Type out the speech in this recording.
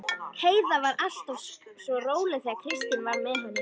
Heiða var alltaf svo róleg þegar Kristín var með henni.